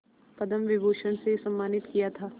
पद्म विभूषण से सम्मानित किया था